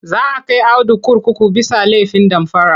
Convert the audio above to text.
Za kai Audu kurkuku bisa laifin damfara..